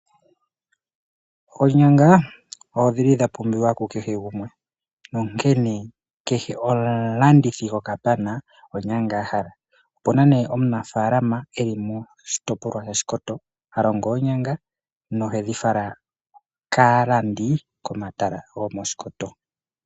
Oonyanga odhili dha pumbiwa kukehe gumwe nonkene kehe omulandithi gokapana onyanga a hala. Opuna omunafalama eli moshitopolwa sha Shikoto ha longo oonyanga nohedhi fala kaalandi ko mahala giipindi gomOshikoto.